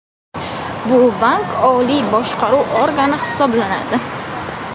Bu bank oliy boshqaruv organi hisoblanadi.